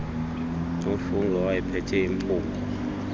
nofungie owayephethe impungo